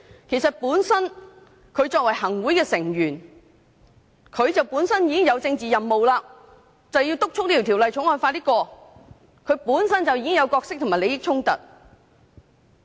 其實作為行會成員，他們本身已經有政治任務，要督促《條例草案》盡快通過，當中存在角色及利益衝突。